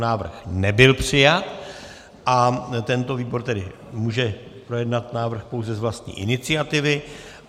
Návrh nebyl přijat a tento výbor tedy může projednat návrh pouze z vlastní iniciativy.